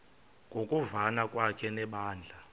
ngokuvana kwakhe nebandla